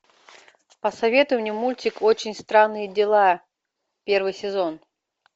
посоветуй мне мультик очень странные дела первый сезон